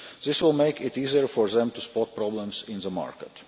ones. This will make it easier for them to spot problems in the market.